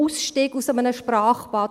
«Ausstieg aus einem Sprachbad».